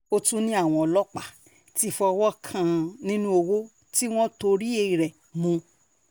ó tún ní àwọn ọlọ́pàá ti fọwọ́ kan nínú ọwọ́ tí wọ́n torí rẹ̀ mú un